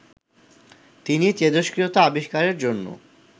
তিনি তেজস্ক্রিয়তা আবিষ্কারের জন্য